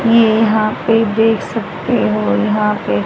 ये यहां पे देख सकते हो यहां पे--